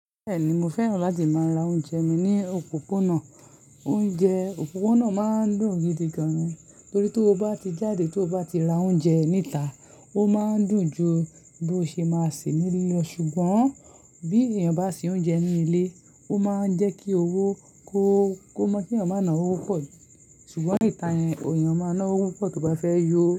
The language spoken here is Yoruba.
Bẹ́ẹ̀ni, mo fẹ́ràn láti máa ra oúnjẹ mi ní òpópónà. Oúnjẹ òpópónà máa ń dùn gidi gan-an torí tí o bá ti jáde tí o bá ti ra oúnjẹ níta, ó máa ń dùn ju bí o ṣe máa ṣe nílé lọ. Ṣùgbọ́n bí èèyàn bá se oúnjẹ ní ilé, ó máa ń jẹ́ kí owó ko kó mọ́ kí èèyàn máa ná owó pọ̀. Ṣùgbọ́n níta yẹn, èèyàn máa ná owó pọ̀ tí ọba fẹ́ yọ.